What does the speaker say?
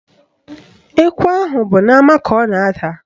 Ekwe ahụ bụ n'ama ka ọ na-ada